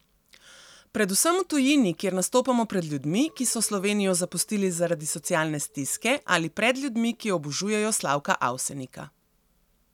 Predvsem v tujini, kjer nastopamo pred ljudmi, ki so Slovenijo zapustili zaradi socialne stiske, ali pred ljudmi, ki obožujejo Slavka Avsenika.